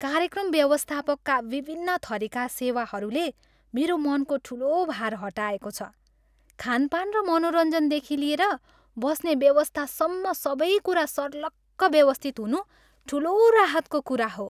कार्यक्रम व्यवस्थापकका विभिन्न थरिका सेवाहरूले मेरो मनको ठुलो भार हटाएको छ, खानपान र मनोरञ्जनदेखि लिएर बस्ने व्यवस्थासम्म सबै कुरा सर्लक्क व्यवस्थित हुनु ठुलो राहतको कुरा हो।